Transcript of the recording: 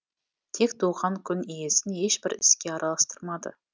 тек туған күн иесін ешбір іске араластырмады